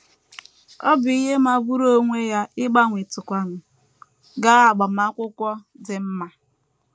Ọ bụ ihe magburu onwe ya ịgbanwetụkwanụ gaa agbamakwụkwọ dị mma. ”